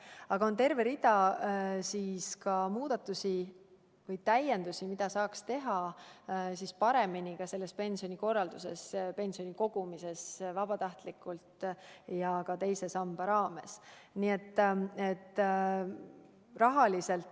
Aga on terve rida muudatusi või täiendusi, mida saaks pensionikorralduses teha vabatahtliku pensioni kogumise huvides ja ka teise samba raames.